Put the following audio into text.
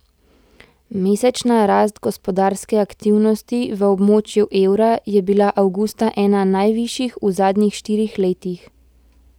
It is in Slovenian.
Mesečna rast gospodarske aktivnosti v območju evra je bila avgusta ena najvišjih v zadnjih štirih letih.